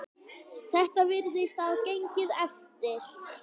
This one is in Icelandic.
Þetta virðist hafa gengið eftir.